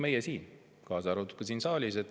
Meie kõik, kaasa arvatud siin saalis olijad.